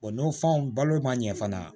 O n'o fanw balo ma ɲɛ fana